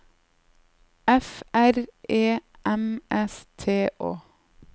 F R E M S T Å